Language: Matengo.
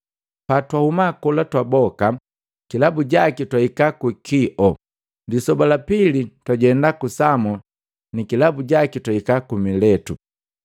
Patwahuma kola twaboka, kilabu jaki twahika ku Kio. Lisoba lapili twajema ku Samo nikilabu jaki twahika ku Miletu.